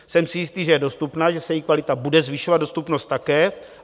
Jsem si jist, že je dostupná, že se její kvalita bude zvyšovat, dostupnost také.